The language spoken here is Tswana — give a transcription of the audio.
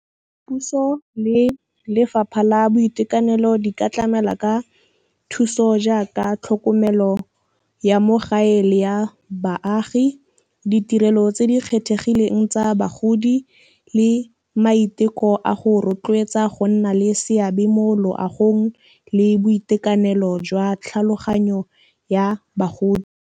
Puso le lefapha la boitekanelo di ka tlamela ka thuso jaaka tlhokomelo ya mo gae le ya baagi, ditirelo tse di kgethegileng tsa bagodi le maiteko a go rotloetsa go nna le seabe mo loagong le boitekanelo jwa tlhaloganyo ya bagodi.